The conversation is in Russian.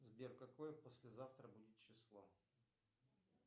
сбер какое послезавтра будет число